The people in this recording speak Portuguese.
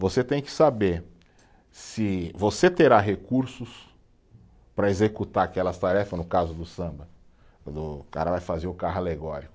Você tem que saber se você terá recursos para executar aquelas tarefa, no caso do samba, quando o cara vai fazer o carro alegórico.